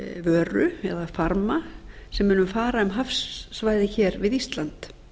vöru eða farma sem munu fara um hafsvæði hér við ísland